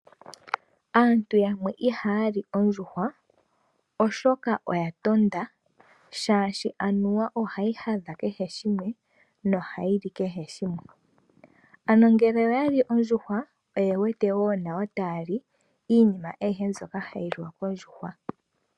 Aantu yamwe ihaya li ondjuhwa oshoka oya tonda omolwaashoka anuwa ohayi hadha kehe shimwe nohayi li kehe shimwe. Ano ngele oyali ondjuhwa oye wete wo nayo taya li iinima ayihe mbyoka hayi liwa kondjuhwa.